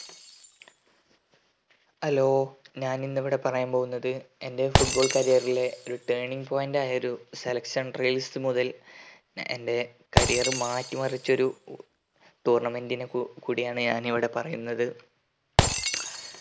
ആലോ ഞാൻ ഇന്ന് ഇവിടെ പറയാൻ പോകുന്നത് എന്റെ foot ball career ലെ ഒരു turning point ഒരു selection trials മുതൽ എന്റെ career മാറ്റി മരിച്ച ഒരു tournament നെ കു കൂടെയാണ് ഞാൻ ഇന്ന് ഇവിടെ പറയുന്നത്